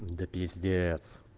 да пиздец